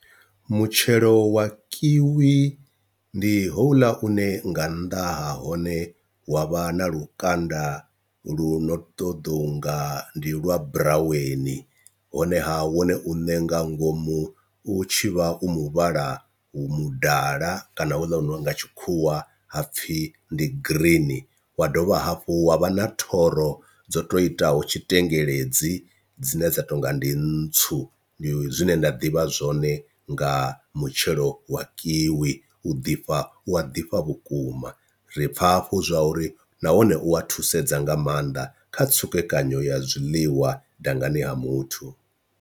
Mutshelo wa kiwi ndi houḽa une nga nnḓa ha hone wa vha na lukanda lu no ṱoḓou nga ndi lwa buraweni, honeha wone u ne nga ngomu u tshivha u muvhala mudala kana hula nga tshikhuwa ha pfhi ndi green, wa dovha hafhu wa vha na thoro dzo to itaho tshitengeledzi dzine dza to nga ndi ntswu ndi zwine nda ḓivha zwone nga mutshelo wa kiwi, u ḓifha u a ḓifha vhukuma ri pfha hafhu zwa uri nahone u a thusedza nga maanḓa kha tsukekanyo ya zwiḽiwa dangani ha muthu.